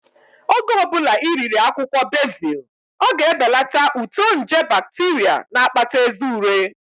Oge ọbụla ị riri akwụkwọ bezil, ọ ga-ebelata uto nje bakteria na-akpata eze ure